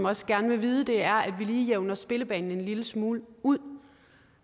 også gerne vil vide er at vi lige jævner spillebanen en lille smule ud